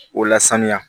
O lasaniya